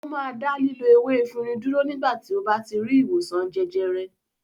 Ó máa dá lílo ewé efirin dúró nígbà tí ó bá ti rí ìwòsàn jẹjẹrẹ.